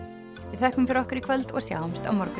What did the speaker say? við þökkum fyrir okkur í kvöld og sjáumst á morgun